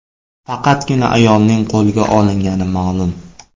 Faqatgina ayolning qo‘lga olingani ma’lum.